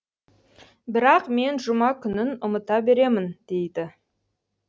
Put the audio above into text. бірақ мен жұма күнін ұмыта беремін дейді